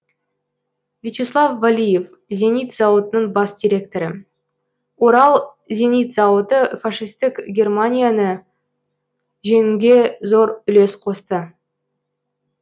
вячеслав валиев зенит зауытының бас директоры орал зенит зауыты фашистік германияны жеңуге зор үлес қосты